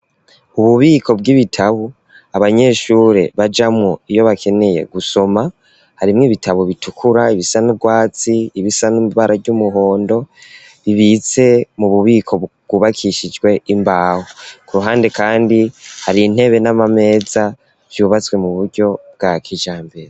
Ububiko bw'ibitabo abanyeshuri bajamwo iyo bakeneye gusoma harimwo ibitabo bitukura ibisa n'urwatsi ibisa n'ibara ry'umuhondo bibitse mu bubiko bwubakishijwe imbaho ku ruhande kandi hari intebe n'amameza vyubatswe mu buryo bwa k'ijyambere.